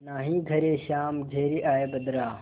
नाहीं घरे श्याम घेरि आये बदरा